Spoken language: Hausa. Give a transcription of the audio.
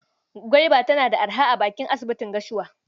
Gwaiba tana da araha a bakin asibitin Gashua.